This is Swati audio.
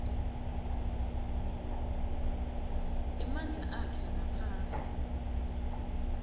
emandla akhe ngaphasi